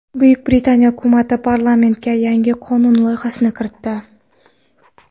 Buyuk Britaniya hukumati parlamentga yangi qonun loyihasini kiritdi.